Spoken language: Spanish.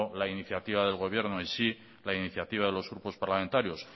la iniciativa del gobierno en sí la iniciativa de los grupos parlamentarios